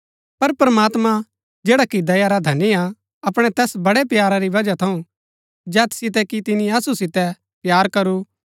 पर प्रमात्मां जैडा कि दया रा धनी हा अपणै तैस बड़ै प्यारा री बजहा थऊँ जैत सितै कि तिनी असु सितै प्‍यार करू